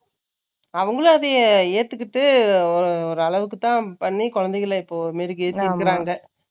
அவங்களும் அதைய ஏத்துக்கிட்டு, ஒரு அளவுக்குத்தான் பண்ணி, குழந்தைகளை இப்போ மெருகேற்றி இருக்கிறாங்க